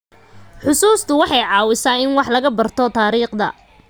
Xusuustu waxay caawisaa in wax laga barto taariikhda.